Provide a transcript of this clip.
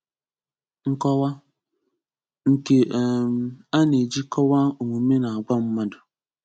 Nkọwa: Nke um ana-eji kọwaa omume na agwa mmadụ.